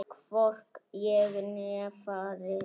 Hvorki ég né faðir hans.